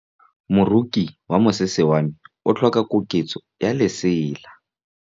Moroki wa mosese wa me o tlhoka koketsô ya lesela.